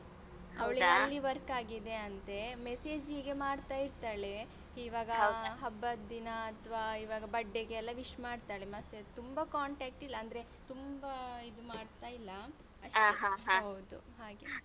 ಅಲ್ಲಿ work ಆಗಿದೆ ಅಂತೆ message ಹೀಗೆ ಮಾಡ್ತ ಇರ್ತಾಳೆ ಇವಾಗ ಹಬ್ಬದ್ ದಿನ ಅಥ್ವ ಇವಾಗ birthday ಗೆ ಎಲ್ಲ wish ಮಾಡ್ತಾಳೆ ಮತ್ತೆ ತುಂಬ contact ಇಲ್ಲ ಅಂದ್ರೆ ತುಂಬ ಇದು ಮಾಡ್ತಾಯಿಲ್ಲ. ಹೌದು ಹಾಗೆ.